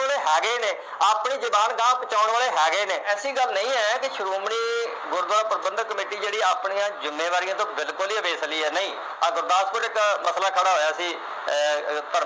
ਵਾਲੇ ਹੈਗੇ ਨੇ ਆਪਣੀ ਜਬਾਨ ਅਗਾਂਹ ਪਹੁੰਚਾਉਣ ਵਾਲੇ ਹੈਗੇ ਨੇ ਐਸੀ ਗੱਲ ਨਹੀਂ ਹੈ ਕਿ ਸ਼੍ਰੋਮਣੀ ਗੁਰਦੁਆਰਾ ਪ੍ਰਬੰਧਕ ਕਮੇਟੀ ਜਿਹੜੀਆਂ ਆਪਣੀਆਂ ਜਿੰਮੇਵਾਰੀਆਂ ਤੋਂ ਬਿਲਕੁਲ ਈ ਅਵੇਸਲੀ ਹੈ ਨਹੀਂ ਆਹ ਗੁਰਦਾਸਪੁਰ ਇਕ ਮਸਲਾ ਖੜਾ ਹੋਇਆ ਸੀ ਅਹ ਧਰਮ